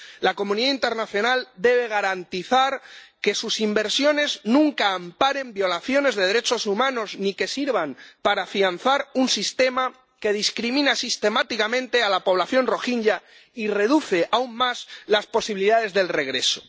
La comunidad internacional debe garantizar que sus inversiones nunca amparen violaciones de derechos humanos ni que sirvan para afianzar un sistema que discrimina sistemáticamente a la población rohinyá y reduce aún más las posibilidades del regreso.